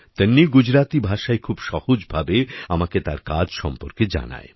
তন্বী গুজরাতি ভাষায় খুব সহজ ভাবে আমাকে তার কাজ সম্পর্কে জানায়